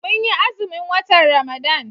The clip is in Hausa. Mun yi azumin watan Ramadan.